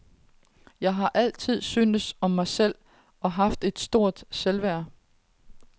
Jeg har altid syntes om mig selv og haft et stort selvværd.